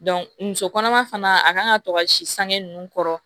muso kɔnɔma fana a kan ka to ka si sange ninnu kɔrɔ